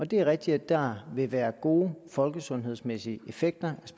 det er rigtigt at der vil være gode folkesundhedsmæssige effekter